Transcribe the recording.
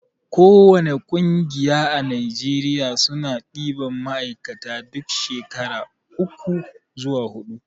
ko wani ƙungiya a najeriya suna ɗiban ma'aikata duk shekara uku zuwa huɗu